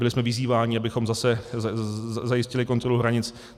Byli jsme vyzýváni, abychom zase zajistili kontrolu hranic.